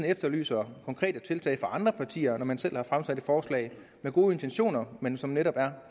efterlyser konkrete tiltag fra andre partier når man selv har fremsat et forslag med gode intentioner men som netop er